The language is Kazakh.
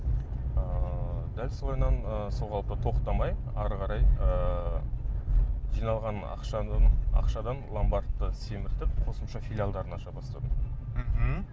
ыыы дәл солайынан ыыы сол қалпы тоқтамай ары қарай ыыы жиналған ақшадан ломбардты семіртіп қосымша филиалдарын аша бастадым мхм